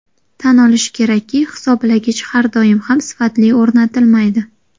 Tan olish kerakki, hisoblagich har doim ham sifatli o‘rnatilmaydi.